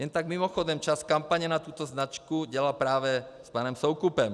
Jen tak mimochodem, část kampaně na tuto značku dělal právě s panem Soukupem.